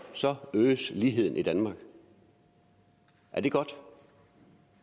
øges ligheden i danmark er det godt